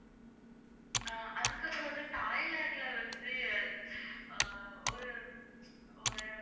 அதுக்கப்புறம்வந்து தாய்லாந்துல வந்து ஒரு~ ஒரு